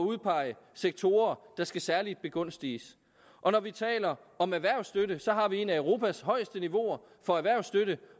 udpege sektorer der skal særligt begunstiges og når vi taler om erhvervsstøtte har vi et af europas højeste niveauer for erhvervsstøtte